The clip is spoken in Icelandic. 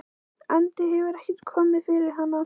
andi hefur ekkert komið fyrir hana.